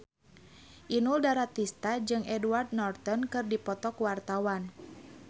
Inul Daratista jeung Edward Norton keur dipoto ku wartawan